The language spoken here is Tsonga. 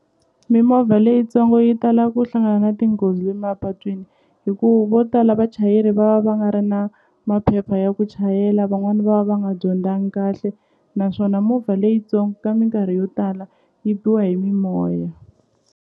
Mimovha leyitsongo yi tala ku hlangana na tinghozi mapatwini hi ku vo tala vachayeri va va va nga ri na maphepha ya ku chayela van'wani va va va nga dyondzangi kahle naswona movha leyintsongo ka minkarhi yo tala yi biwa hi mimoya.